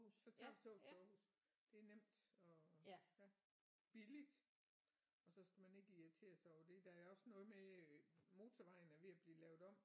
Så tager vi toget til Aarhus det er nemt og ja billigt og så skal man ikke irritere sig over det der er også noget med øh motorvejen er ved at blive lavet om